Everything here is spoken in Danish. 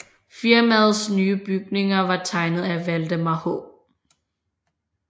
Firmaets nye bygninger var tegnet af Valdemar H